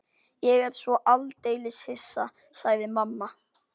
Ég er svo aldeilis hissa, sagði mamma.